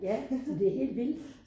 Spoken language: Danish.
Ja men det helt vildt